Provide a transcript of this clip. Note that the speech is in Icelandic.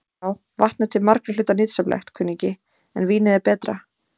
Já, vatn er til margra hluta nytsamlegt, kunningi, en vínið er betra.